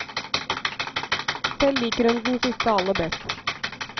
Selv liker hun den siste aller best.